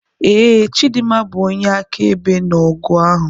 .Ee, chidimma bụ onye akaebe na ọgụ ahụ.